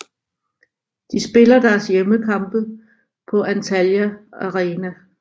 De spiller deres hjemmekampe på Antalya Arena